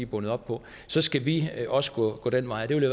bundet op på så skal vi også gå den vej det vil